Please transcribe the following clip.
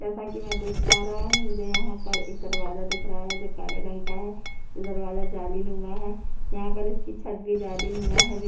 जैसा की मै देख पा रहा हूँ मुझे यहाँ पर एक दरवाजा दिख रहा है जो काले रंग का है ये दरवाजा जालीलूमा है यहाँ पर इसकी छत भी जालीलूमा है जो --